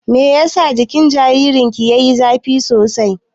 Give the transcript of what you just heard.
Meyasa jikin jaririn ki yayi zafi sosai?